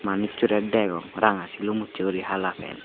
manussore degong ranga silum usse guri hala pan.